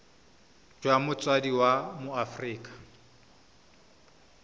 jwa motsadi wa mo aforika